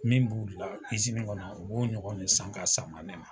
Min b'u la kizinin kɔnɔ u b'o ɲɔgɔn san ka san ma ne ma